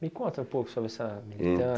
Me conta um pouco sobre essa hum militância.